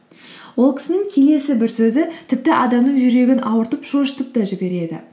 ол кісінің келесі бір сөзі тіпті адамның жүрегін ауыртып шошытып та жібереді